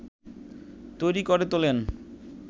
তৈরি করে তোলেন